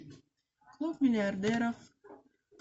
клуб миллиардеров